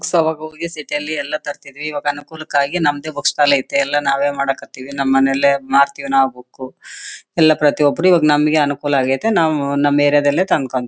Books ಅವಾಗ್ ಹೋಗಿ city ಯಲ್ಲಿ ಎಲ್ಲ ತರ್ತಿದ್ವಿ ಇವಾಗ್ ಅನುಕೂಲಕ್ಕಾಗಿ ನಮ್ದೇ ಬುಕ್ಸ್ ಸ್ಟಾಲ್ ಐತ್ತಿ ಎಲ್ಲ ನಾವೇ ಮಾಡಕ್ ಹತ್ತೀವಿ ನಮ್ ಮನೆಲ್ಲೇ ಮಾರ್ತ್ತೀವಿ ನಾವು ಬುಕ್ ಎಲ್ಲ ಪ್ರತಿ ಒಬ್ಬರು ಇವಾಗ್ ನಮ್ಗೆ ಅನುಕೂಲ ಅಗೈತ್ತೆ ನಾವು ನಮ್ ಏರಿಯಾ ದಲ್ಲೇ ತಂದ್ಕೊಳ್ತೀವಿ.